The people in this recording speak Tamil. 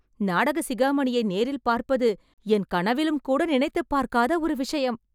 நாடக சிகாமணியை நேரில் பார்ப்பது என் கனவிலும் கூட நினைத்துப் பார்க்காத ஒரு விஷயம்